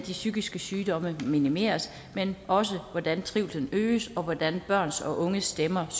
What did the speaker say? psykiske sygdomme minimeres men også hvordan trivslen øges og hvordan børns og unges stemmer